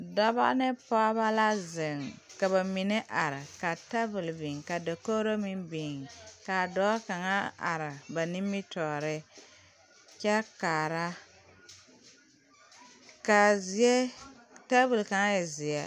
Dɔbɔ ne pɔɔbɔ la zeŋ ka ba mine are ka tabole biŋ ka dakogro meŋ biŋ kaa dɔɔ kaŋa are ba nimitoore kyɛ kaara kaa zie tabole kaŋa e zeɛ.